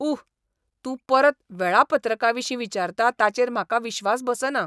उह, तूं परत वेळापत्रकाविशीं विचारता ताचेर म्हाका विश्वास बसना!